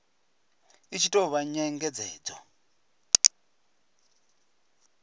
i tshi tou vha nyengedzedzo